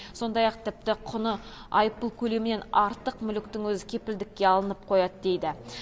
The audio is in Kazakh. сондай ақ тіпті құны айыппұл көлемінен артық мүліктің өзі кепілдікке алынып қояды дейді